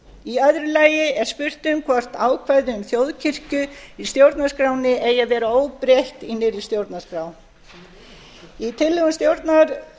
í öðru lagi er spurt um h vort ákvæði um þjóðkirkju í stjórnarskránni eigi að vera óbreytt í nýrri stjórnarskrá í tillögu stjórnlagaráðs er